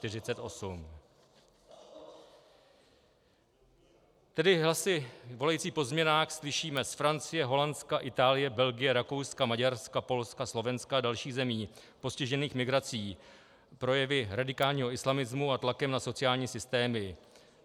Tedy hlasy volající po změnách slyšíme z Francie, Holandska, Itálie, Belgie, Rakouska, Maďarska, Polska, Slovenska a dalších zemí postižených migrací, projevy radikálního islamismu a tlakem na sociální systémy.